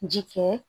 Ji kɛ